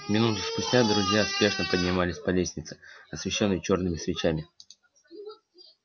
минуту спустя друзья спешно поднимались по лестнице освещённой чёрными свечами